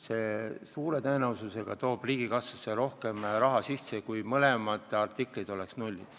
See suure tõenäosusega toob riigikassasse rohkem raha sisse kui siis, kui mõlema artikli puhul oleks tegu nulliga.